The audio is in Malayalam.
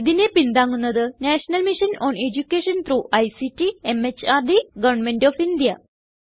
ഇതിനെ പിന്താങ്ങുന്നത് national mission on education through ICT MHRD government of India